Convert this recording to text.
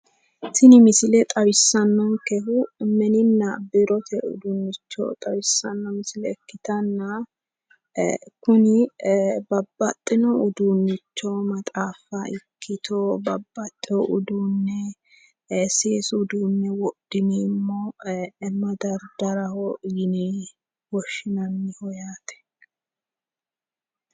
Tini misile xawisanonkehu mininna biirote uduunicho xawisano misile ikkanna kuni babbaxino uduunicho maxaaffa ikkitto babbaxeyeho seesu uduune wodhineemmo madaridaraho yine woshshinanniho yaate